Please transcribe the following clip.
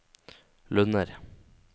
Lunner